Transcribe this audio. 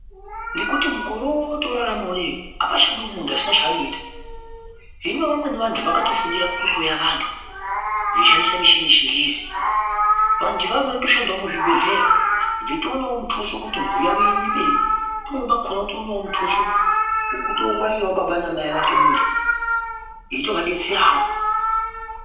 Ngekuti mukore uno wetoorarama apachadi muntu asina cheanoita. Hino vamweni vantu vakatofundira kuhloya vantu veishandisa michini yechingezi. Vantu ivavo vanotoshandawo muchibhedhlera veitoonawo mutuso kuti mhuri yavo iende mberi. Veitokonawo kutoona mutuso wekutongwarira baba namai vake muntu eitovadetserawo.